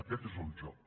aquest és el joc